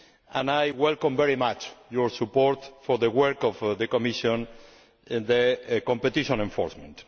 and I welcome very much your support for the work of the Commission on competition enforcement.